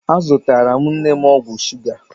Azụtara m nne m ọgwụ shuga.